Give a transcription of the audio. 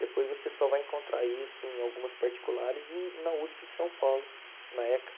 Depois você só vai encontrar isso em algumas particulares e na USP em São Paulo, na ECA.